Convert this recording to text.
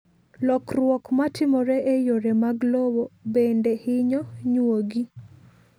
Lokruok matimore e yore mag lowo bende hinyo nyuogi.